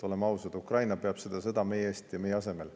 Oleme ausad, Ukraina peab seda sõda meie eest ja meie asemel.